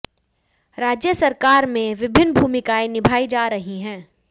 राज्य सरकार में विभिन्न भूमिकाएं निभाई जा रही हैं